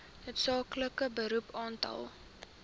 noodsaaklike beroep aantal